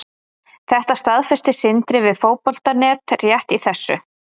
Þetta staðfesti Sindri við Fótbolta.net rétt í þessu.